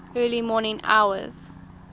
early morning hours